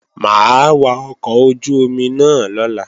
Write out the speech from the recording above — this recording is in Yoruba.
Mà á wa ọkọ̀ ojú-omi náà lọ́la